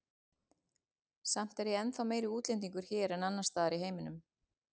Samt er ég ennþá meiri útlendingur hér en annars staðar í heiminum.